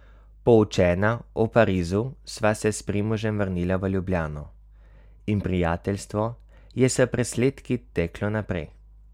Poučena o Parizu sva se s Primožem vrnila v Ljubljano in prijateljstvo je s presledki teklo naprej.